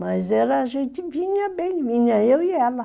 Mas era, a gente vinha bem, vinha eu e ela.